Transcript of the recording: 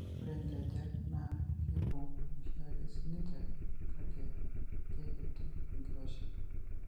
Ore inkejek naa keibung' oshiake siininche, kake keikiti enkiroshi.